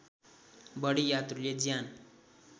बढी यात्रुले ज्यान